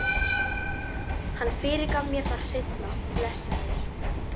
Hann fyrirgaf mér það seinna, blessaður.